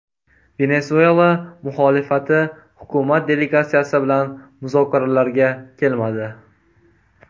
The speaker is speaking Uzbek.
Venesuela muxolifati hukumat delegatsiyasi bilan muzokaralarga kelmadi.